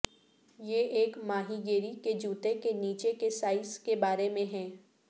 یہ ایک ماہی گیری کے جوتے کے نیچے کے سائز کے بارے میں ہے